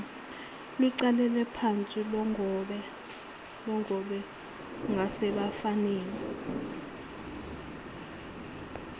luqalephansi lugobe ngasebafaneni